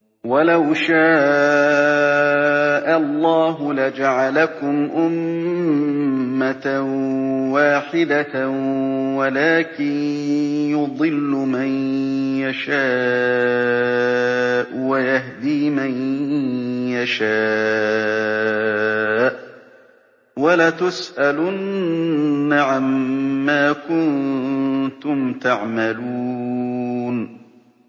وَلَوْ شَاءَ اللَّهُ لَجَعَلَكُمْ أُمَّةً وَاحِدَةً وَلَٰكِن يُضِلُّ مَن يَشَاءُ وَيَهْدِي مَن يَشَاءُ ۚ وَلَتُسْأَلُنَّ عَمَّا كُنتُمْ تَعْمَلُونَ